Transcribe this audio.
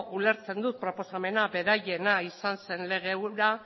ulertzen dut proposamena beraiena izan zen lege hura